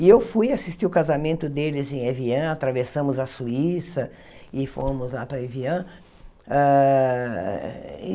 E eu fui assistir o casamento deles em Evian, atravessamos a Suíça e fomos lá para Evian.